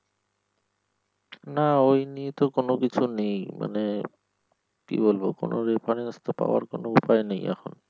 না ওই নিয়ে তো কোনকিছু নেই মানে কি বলব কোন reference তো পাওয়ার কোন উপায় নেই এখন।